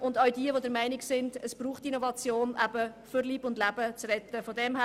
Auch wer der Meinung ist, dass es Innovationen braucht, um Leben zu retten, soll Ja stimmen.